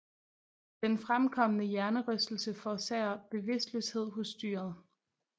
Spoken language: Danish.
Den fremkomne hjernerystelse forårsager bevidstløshed hos dyret